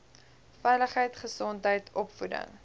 veiligheid gesondheid opvoeding